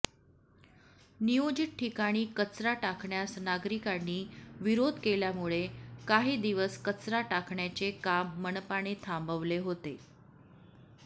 नियोजित ठिकाणी कचरा टाकण्यास नागरिकांनी विरोध केल्यामुळे काही दिवस कचरा टाकण्याचे काम मनपाने थांबवले होते